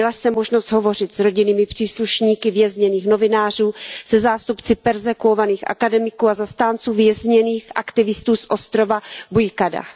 Měla jsem možnost hovořit s rodinnými příslušníky vězněných novinářů, se zástupci perzekuovaných akademiků a zastánců vězněných aktivistů z ostrova Buyukada.